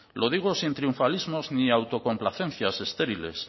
lo digo sin triunfalismos ni autocomplacencias estériles